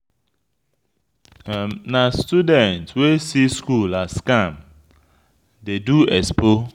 Na student wey see school as scam dey do expo.